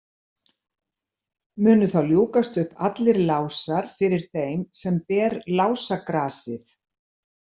Munu þá ljúkast upp allir lásar fyrir þeim sem ber lásagrasið.